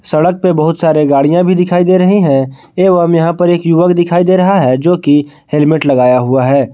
सड़क पे बहोत सारे गाड़ियां भी दिखाई दे रही है एवं यहां पर एक युवक दिखाई दे रहा है जो कि हेलमेट लगाया हुआ है।